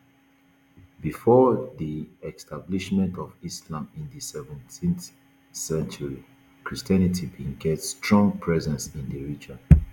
bifor di establishment of islam in di seventh century christianity bin get strong presence in di region